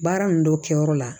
Baara ninnu dɔ kɛ yɔrɔ la